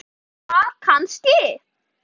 Og borðaði það kannski?